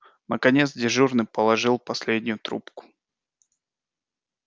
наконец дежурный положил последнюю трубку